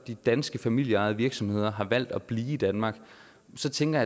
de danske familieejedevirksomheder har valgt at blive i danmark så tænker